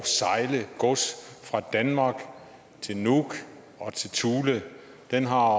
sejle gods fra danmark til nuuk og til thule den har